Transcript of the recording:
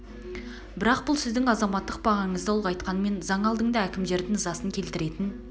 бірақ бұл сіздің азаматтық бағаңызды ұлғайтқанмен заң алдында әкімдердің ызасын келтіретін